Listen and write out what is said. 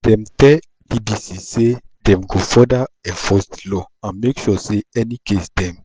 dem tell bbc say dem go further enforce di law and make sure say any case dem